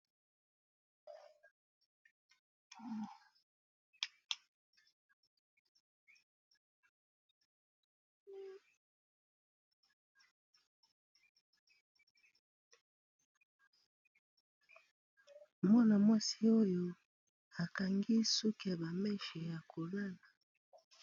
mwana mwasi oyo akangi suke bameshe ya kolala